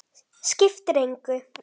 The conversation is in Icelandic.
Skiptir engu!